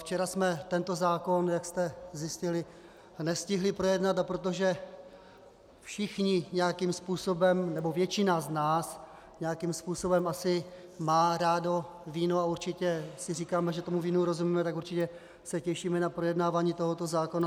Včera jsme tento zákon, jak jste zjistili, nestihli projednat, a protože všichni nějakým způsobem, nebo většina z nás nějakým způsobem asi má rádo víno a určitě si říkáme, že tomu vínu rozumíme, tak určitě se těšíme na projednávání tohoto zákona.